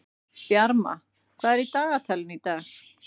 Bjarma, hvað er á dagatalinu í dag?